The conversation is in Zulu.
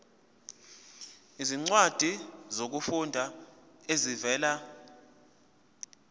izincwadi zokufunda ezivela